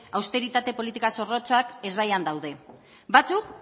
austeritate politika zorrotzak ezbaian daude batzuk